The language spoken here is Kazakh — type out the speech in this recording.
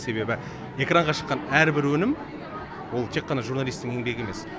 себебі экранға шыққан әрбір өнім ол тек қана журналистің еңбегі емес